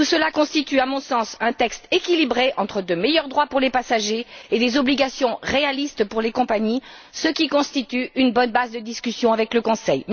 Tout cela constitue, à mon sens, un texte équilibré entre de meilleurs droits pour les passagers et des obligations réalistes pour les compagnies, ce qui constitue une bonne base de discussion avec le Conseil.